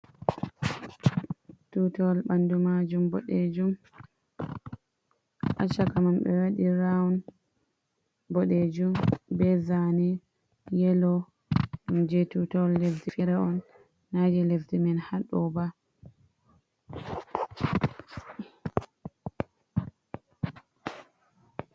Tuutawal ɓanndu maajum boɗeejum, haa caka man ɓe waɗi Round boɗeejum, bee zaane yelo, ɗum jey tuutawal lesdi feere on, naa leddi men haa ɗoo ba.